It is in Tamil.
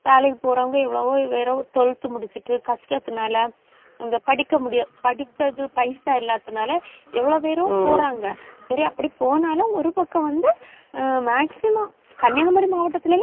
வேலைக்கு போறவங்க எவ்வளவோ வெறும் twelfth முடிச்சுட்டு கஷ்டத்துனால படிக்க முடியாது. படிக்கிறது பைசா இல்லாததுனால எவ்வளவு பேரும் போறாங்க. சரி அப்படி போனாலும் ஒரு பக்கம் வந்து, ஆஹ் maximum கன்னியாகுமரி மாவட்டத்துலயே